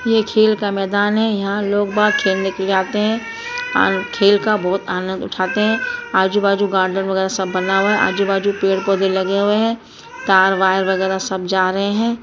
ये खेल का मैदान है यहाँ लोग बाग खेलने के लिए आते हैं खेल का बहुत आनंद उठाते हैं आजू बाजू गार्डन वगैरह सब बना हुआ है आजू बाजू पेड़ पौधे लगे हुए हैं तार वायर वगैरह सब जा रहे हैं।